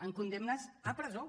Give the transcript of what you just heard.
amb condemnes a presó